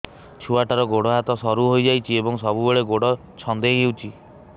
ଛୁଆଟାର ଗୋଡ଼ ହାତ ସରୁ ହୋଇଯାଇଛି ଏବଂ ସବୁବେଳେ ଗୋଡ଼ ଛଂଦେଇ ହେଉଛି